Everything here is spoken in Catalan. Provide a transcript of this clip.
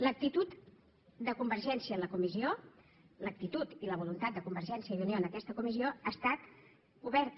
l’actitud de convergència en la comissió l’actitud i la voluntat de convergència i unió en aquesta comissió ha estat oberta